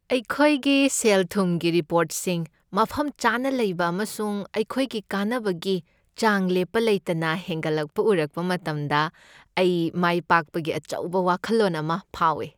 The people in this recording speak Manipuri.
ꯑꯩꯈꯣꯏꯒꯤ ꯁꯦꯜ ꯊꯨꯝꯒꯤ ꯔꯤꯄꯣꯔꯠꯁꯤꯡ ꯃꯐꯝ ꯆꯥꯅ ꯂꯩꯕ ꯑꯃꯁꯨꯡ ꯑꯩꯈꯣꯏꯒꯤ ꯀꯥꯟꯅꯕꯒꯤ ꯆꯥꯡ ꯂꯦꯞꯄ ꯂꯩꯇꯅ ꯍꯦꯟꯒꯠꯂꯛꯄ ꯎꯔꯛꯄ ꯃꯇꯝꯗ ꯑꯩ ꯃꯥꯏꯄꯥꯛꯄꯒꯤ ꯑꯆꯧꯕ ꯋꯥꯈꯜꯂꯣꯟ ꯑꯃ ꯐꯥꯎꯏ ꯫